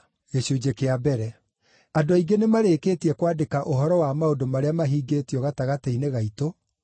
Andũ aingĩ nĩmarĩkĩtie kwandĩka ũhoro wa maũndũ marĩa mahingĩtio gatagatĩ-inĩ gaitũ,